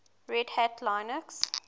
red hat linux